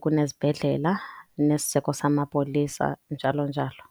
kune zibhedlela nesiseko samapolisa, njalo njalo.